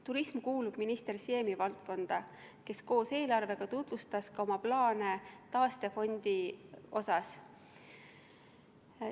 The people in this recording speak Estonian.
Turism kuulub minister Siemi valdkonda, kes koos eelarvega tutvustas ka oma plaane taastefondi kohta.